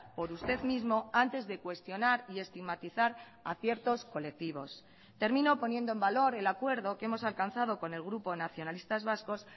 por usted mismo antes de cuestionar y estigmatizar a ciertos colectivos termino poniendo en valor el acuerdo que hemos alcanzado con el grupo nacionalistas vascos